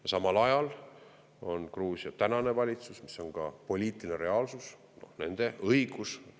Ja samal ajal on Gruusia tänane valitsus, mis on ka poliitiline reaalsus, nende õigus.